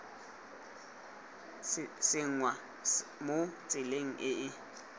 tsenngwa mo tseleng e e